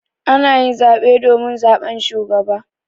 Ana yin zaɓe domin zaɓan shugaba.